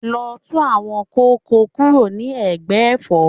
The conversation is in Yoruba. Lọ tú àwọn kóókò kúrò ní ẹ̀gbẹ́ Ẹ̀fọ́!